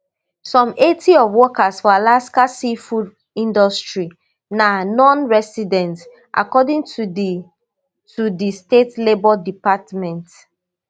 some eighty of workers for alaska sea food industry na nonresident according to di to di state labour department